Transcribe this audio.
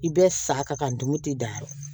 I bɛ sa ka dumuni tɛ dan yɔrɔ min